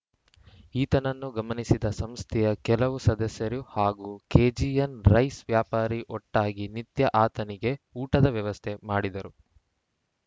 ಈತನನ್ನು ಗಮನಿಸಿದ ಸಂಸ್ಥೆಯ ಕೆಲವು ಸದಸ್ಯರು ಹಾಗೂ ಕೆಜಿಎನ್‌ ರೈಸ್‌ ವ್ಯಾಪಾರಿ ಒಟ್ಟಾಗಿ ನಿತ್ಯ ಆತನಿಗೆ ಊಟದ ವ್ಯವಸ್ಥೆ ಮಾಡಿದರು